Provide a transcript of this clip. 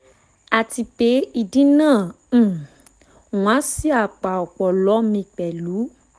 àti pé ìdì náà um ń wá sí apá ọpọlọ mi pẹ̀lú